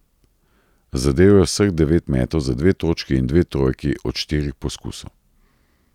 Zadel je vseh devet metov za dve točki in dve trojki od štirih poskusov.